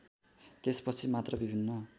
त्यसपछि मात्र विभिन्न